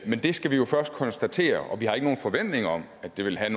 men det skal vi jo først konstatere og vi har ikke nogen forventning om at det vil have